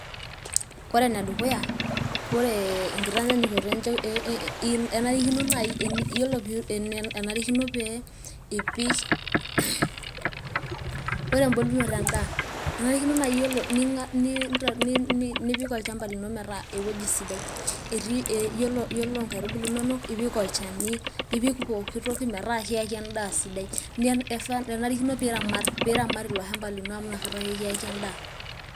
Kore ene dukuya, ee enkitanyukoto enarikino naaji pee ipik, ore embolunoto endaa nipik olchampa lino peyie eaku eweji sidai, iyiolo inkaitubulu inonok ipik olchani, nipik pooki toki metaa kiaki endaa sidai. Enarikino peyie iramat iloshamba lino amu inakata ake kiaki endaa.